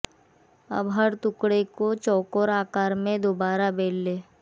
अब हर टुकड़े को चौकोर आकार में दोबारा बेल लें